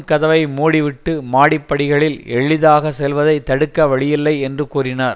கதவை மூடிவிட்டு மாடிப்படிகளில் எளிதாக செல்வதை தடுக்க வழியில்லை என்று கூறினார்